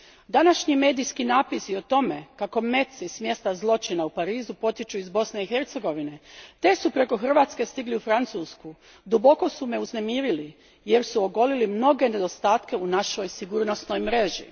Današnji medijski napisi o tome kako meci s mjesta zločina u Parizu potječu iz Bosne i Hercegovine te su preko Hrvatske stigli u Francusku, duboko su me uznemirili, jer su ogolili mnoge nedostatke u našoj sigurnosnoj mreži.